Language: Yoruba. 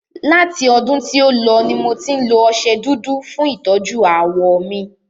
Láti ọdún tí o lọ ní mo tí ń lo ọṣẹ dúdú fún ìtọ́jú ààwọ̀ mí.